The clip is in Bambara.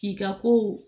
K'i ka kow